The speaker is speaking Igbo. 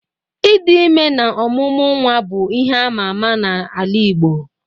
Ịdị ime na ọmụmụ nwa bụ ihe ama ama n'ala igbo.